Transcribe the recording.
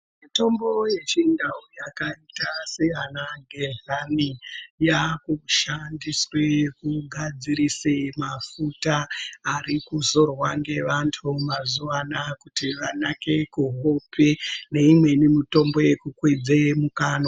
Mitombo yeChiNdau yakaita seana gehlani yakushandiswe kugadzirise mafuta ari kuzorwa ngevantu mazuva anaya kuti vanake kuhope neimweni mitombo yekukwidze mukanwa .